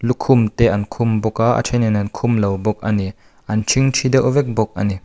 lukhum te an khum bawk a a thenin an khum lo bawk a ni an thingthi deuh vek bawk a ni.